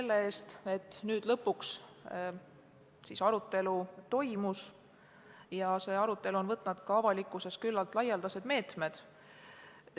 Samuti tänan selle eest, et nüüd lõpuks see arutelu toimus ja et see on ka avalikkuses omandanud küllalt laialdased mõõtmed.